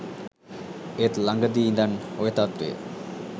ඒත් ලඟදි ඉඳන් ඔය තත්වය